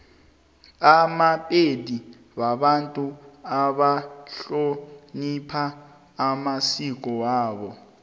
amapedi babantu abahlonipha amasiko wabo